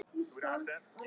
Þú glottir bara!